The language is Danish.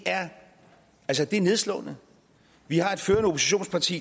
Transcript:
er nedslående vi har et førende oppositionsparti